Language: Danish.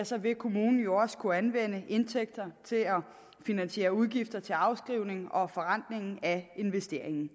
så vil kommunen jo også kunne anvende indtægter til at finansiere udgifter til afskrivning og forrentning af investeringen